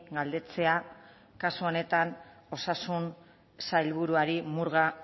galdetzea kasu honetan osasun sailburuari murga